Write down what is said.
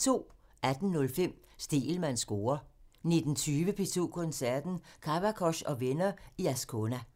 18:05: Stegelmanns score (tir) 19:20: P2 Koncerten – Kavakos og venner i Ascona